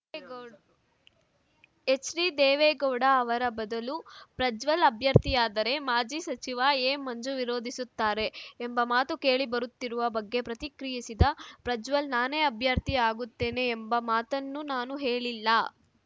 ಯೇ ಗೋಡ್ ಎಚ್‌ಡಿ ದೇವೇಗೌಡ ಅವರ ಬದಲು ಪ್ರಜ್ವಲ್‌ ಅಭ್ಯರ್ಥಿಯಾದರೆ ಮಾಜಿ ಸಚಿವ ಎಮಂಜು ವಿರೋಧಿಸುತ್ತಾರೆ ಎಂಬ ಮಾತುಕೇಳಿ ಬರುತ್ತಿರುವ ಬಗ್ಗೆ ಪ್ರತಿಕ್ರಿಯಿಸಿದ ಪ್ರಜ್ವಲ್‌ ನಾನೇ ಅಭ್ಯರ್ಥಿ ಆಗುತ್ತೇನೆ ಎಂಬ ಮಾತನ್ನು ನಾನು ಹೇಳಿಲ್ಲ